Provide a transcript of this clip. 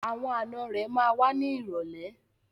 Àwọn ànọ́ rẹ̀ ma wá ní ìrọ̀lẹ́.